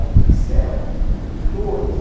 no pincel, por pintores.